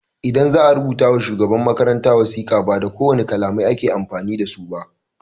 Idan za'a rubuta ma shugaban makaranta wasika, ba da kowane kalamai ake amfani dasu ba.